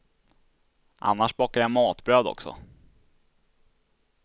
Annars bakar jag matbröd, också.